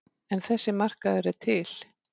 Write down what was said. En þessi markaður er til.